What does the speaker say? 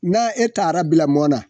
Na e taar'a bila mɔ na